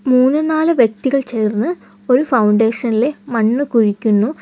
മൂന്നു നാലു വ്യക്തികൾ ചേർന്ന് ഒരു ഫൗണ്ടേഷനിൽ മണ്ണ് കുഴിക്കുന്നു.